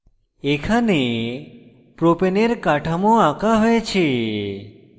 এখানে propane এর কাঠামো আঁকা হয়েছে